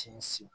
Sinsin